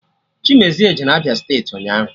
Chimezie jere Abịa steeti ụnyaahụ